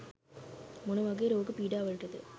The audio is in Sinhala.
මොන වගේ රෝග පීඩාවලටද?